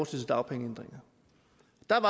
til dagpengeændringer